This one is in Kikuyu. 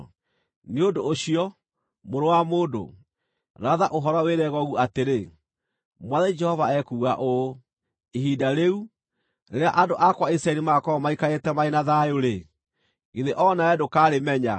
“Nĩ ũndũ ũcio, mũrũ wa mũndũ, ratha ũhoro wĩre Gogu atĩrĩ: ‘Mwathani Jehova ekuuga ũũ: Ihinda rĩu, rĩrĩa andũ akwa Isiraeli magaakorwo maikarĩte marĩ na thayũ-rĩ, githĩ o nawe ndũkarĩmenya?